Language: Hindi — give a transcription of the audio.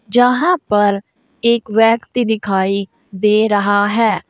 जहां पर एक व्यक्ति दिखाई दे रहा है।